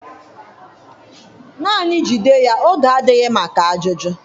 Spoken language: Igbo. Naanị jide ya oge adịghị maka ajụjụ?